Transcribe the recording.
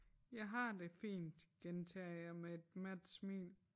Jeg har det fint gentager jeg med et mat smil